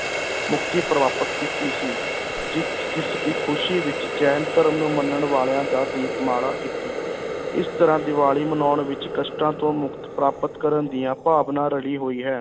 ਮੁਕਤੀ ਪ੍ਰਾਪਤ ਕੀਤੀ ਸੀ ਜਿੱਤ ਜਿਸ ਦੀ ਖ਼ੁਸ਼ੀ ਵਿੱਚ ਜੈਨ ਧਰਮ ਨੂੰ ਮੰਨਣ ਵਾਲਿਆਂ ਦਾ ਦੀਪਮਾਲਾ ਕੀਤੀ ਇਸ ਤਰ੍ਹਾਂ ਦੀਵਾਲੀ ਮਨਾਉਣ ਵਿੱਚ ਕਸ਼ਟਾਂ ਤੋਂ ਮੁਕਤ ਪ੍ਰਾਪਤ ਕਰਨ ਦੀਆਂ ਭਾਵਨਾ ਰਲੀ ਹੋਈ ਹੈ।